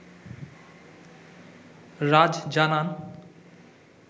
রাজ জানান